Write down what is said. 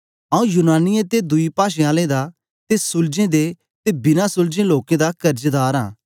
आंऊँ यूनानियें ते दुई पाषें आलें दा ते सुलझें दे ते बिना सुलझें लोकें दा कर्जदार आं